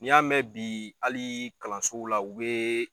N'i y'a mɛn bi ali kalansow la u bee